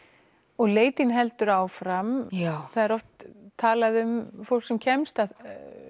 og leit þín heldur áfram það er oft talað um fólk sem kemst að